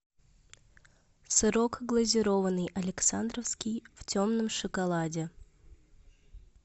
сырок глазированный александровский в темном шоколаде